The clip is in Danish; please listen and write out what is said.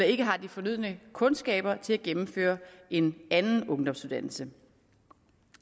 ikke har de fornødne kundskaber til at gennemføre en anden ungdomsuddannelse